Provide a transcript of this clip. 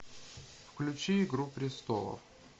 включи игру престолов